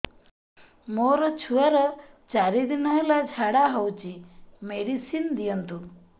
ମୋର ଛୁଆର ଚାରି ଦିନ ହେଲା ଝାଡା ହଉଚି ମେଡିସିନ ଦିଅନ୍ତୁ